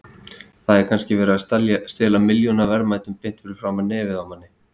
Það er kannski verið að stela milljónaverðmætum beint fyrir framan nefið á manni.